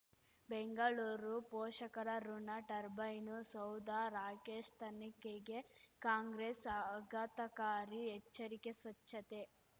ಬೆಂಗಳೂರು ಪೋಷಕರಋಣ ಟರ್ಬೈನು ಸೌಧ ರಾಕೇಶ್ ತನಿಖೆಗೆ ಕಾಂಗ್ರೆಸ್ ಆಘಾತಕಾರಿ ಎಚ್ಚರಿಕೆ ಸ್ವಚ್ಛತೆ